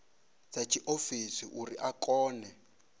dza tshiofisi uri a kone